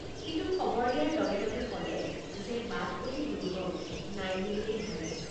কিন্তু খবৰ দিয়াৰ লগে লগে কলে যে বাট অতি দুৰ্গম নাই বুলিলেই হয়।